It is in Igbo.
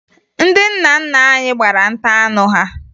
Ndị nna nna anyị gbara nta anụ ha